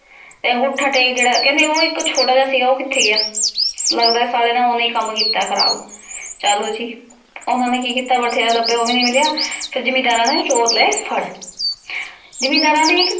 ਤੇ ਅਨ੍ਗੋਥਾ ਟੇਕ ਜੇਰਾ ਕੇਹੰਡੀ ਊ ਏਇਕ ਛੋਟਾ ਜੇਯ ਸੀ ਜੇਰਾ ਊ ਕਿਥੇ ਗਯਾ ਲਗਦਾ ਆਯ ਸਲੇ ਨੇ ਓਹਨੇ ਈ ਕਾਮ ਕੀਤਾ ਖਰਾਬ ਚਲ ਓਹਨਾਂ ਨੀ ਕੀ ਕੀਤਾ ਬਥੇਰਾ ਲਾਭ੍ਯਾ ਊ ਨਾਈ ਮਿਲਯਾ ਤੇ ਜ਼ਿਮੇੰਦਾਰਾਂ ਨੇ ਚੋਰ ਲੇ ਫਾਰ ਜ਼ਿਮੇੰਦਾਰਾਂ ਨੇ ਏਇਕ